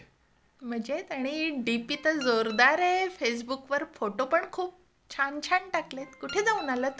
मजेत? आणि डीपी तर जोरदार आहे. फेसबुक वर फोटो पण खूप छान छान टाकलेत. कुठे जाऊन आला तू?